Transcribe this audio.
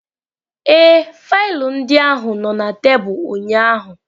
Ee, faịlụ ndị ahụ nọ na tebụl ụnyaahụ.